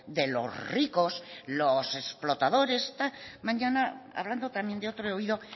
de los ricos los explotadores también de otro oído